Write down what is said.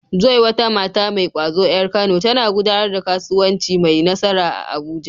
Joy, wata mata mai ƙwazo ƴar Kano, tana gudanar da kasuwanci mai nasara a Abuja.